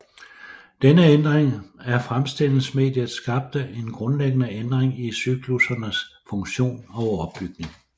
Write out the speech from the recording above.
Denne ændring af fremstillingsmediet skabte en grundlæggende ændring i cyklussernes funktion og opbygning